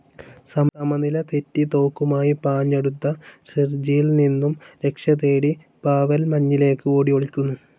സമനില തെറ്റി തോക്കുമായി പാഞ്ഞടുത്ത സെർജിയിൽ നിന്നും രക്ഷതേടി പാവെൽ മഞ്ഞിലേക്ക് ഓടിഒളിക്കുന്നു.